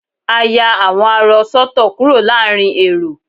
a ya awọn arọ sọtọ kúrò láàrin èrò